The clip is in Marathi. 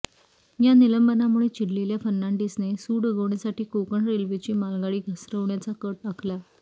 या निलंबनामुळे चिडलेल्या फर्नाडिसने सूड उगवण्यासाठी कोकण रेल्वेची मालगाडी घसरवण्याचा कट आखला